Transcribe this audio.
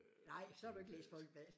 Øh Folkebladet